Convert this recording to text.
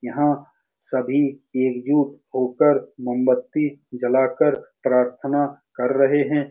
यहाँ सभी एकजुट होकर मोमबत्ती जला कर प्रार्थना कर रहे हैं ।